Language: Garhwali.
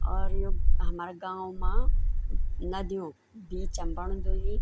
और यु हमारा गाँव माँ नदियों बीचम बणदू ये।